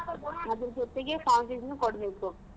ಅದ್ರ್ ಜೊತೆಗೆ form fees ನು ಕೊಡ್ಬೇಕು.